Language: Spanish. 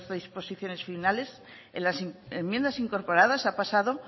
disposiciones finales en las enmiendas incorporadas ha pasado